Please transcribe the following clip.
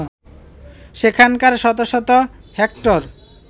সেখানকার শত শত হেক্টর